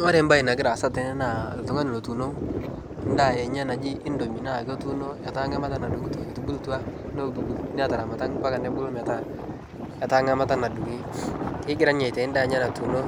Kore bae nagira asai tene naa ltungani lotuno ndaa enye naji indomi naa kotunoo naa ketaa ngamata nadung'uto etubuluta natamata mpaka nobulu metaa etaa ngamata nadung'i, kegira ninye atai ndaa enye natuno